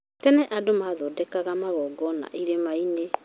tene andũ mathondekaga magongona irĩma-inĩ